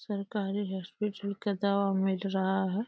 सरकारी हॉस्पीटल का दवा मिल रहा है।